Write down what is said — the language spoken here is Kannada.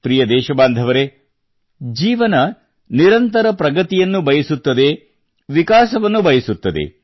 ಪ್ರಿಯ ದೇಶಬಾಂಧವರೆ ಜೀವನ ನಿರಂತರ ಪ್ರಗತಿಯನ್ನು ಬಯಸುತ್ತದೆ ವಿಕಾಸವನ್ನು ಬಯಸುತ್ತದೆ